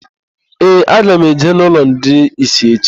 Ee, aga m eje n'ụlọ ndị ìsì echi.